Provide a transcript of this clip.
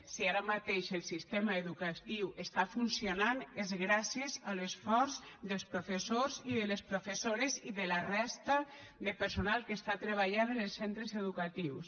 si ara mateix el sistema educatiu està funcionant és gràcies a l’esforç dels professors i de les professores i de la resta de personal que està treballant en els centres educatius